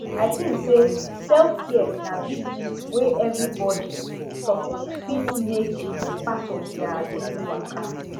i tink sey selfcare na big gist wey everybody suppose fit make part of their daily waka